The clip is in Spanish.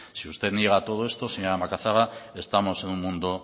si usted no llega a todo esto señora macazaga estamos en un mundo